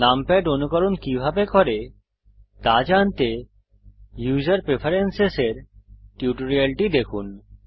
numpad অনুকরণ কিভাবে করে তা জানতে উসের প্রেফারেন্স এর টিউটোরিয়াল দেখুন